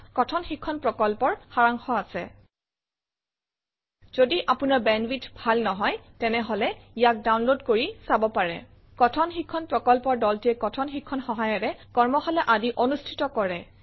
ইয়াত কথন শিক্ষণ প্ৰকল্পৰ সাৰাংশ আছে যদি আপোনাৰ বেণ্ডৱিডথ ভাল নহয় তেনেহলে ইয়াক ডাউনলোড কৰি চাব পাৰে কথন শিক্ষণ প্ৰকল্পৰ দলটিয়ে কথন শিক্ষণ সহায়িকাৰে কৰ্মশালা আদি অনুষ্ঠিত কৰে